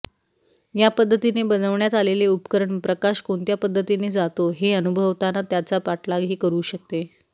या पद्धतीने बनवण्यात आलेले उपकरण प्रकाश कोणत्या पद्धतीने जातो हे अनुभवताना त्याचा पाठलागही करू शकते